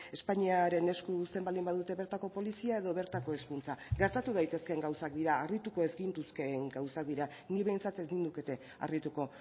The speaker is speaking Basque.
espainiaren esku uzten baldin badute bertako polizia edo bertako hezkuntza gertatu daitezkeen gauzak dira harrituko ez gintuzkeen gauzak dira ni behintzat ez nindukete harrituko